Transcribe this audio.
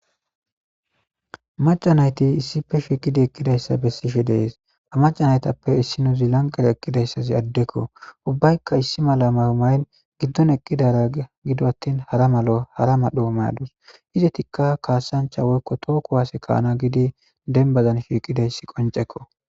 Maca naytti issippe shiqidi eqidaysa besishe dees. Ha maca naythape issinozi lanqeza eqizaysi addeko ubaykka issi mala mayo mayidi gidon eqidara gidon athin hara medho mayo mayadus izzathika kassancha woykko toho kuwase ka'na gidi dembazan shiqidaysi qoncekko.